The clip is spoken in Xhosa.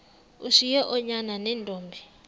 ushiye oonyana neentombi